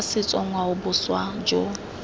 jaaka setso ngwao boswa jo